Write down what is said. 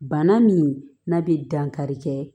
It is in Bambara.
Bana min n'a bɛ dankari kɛ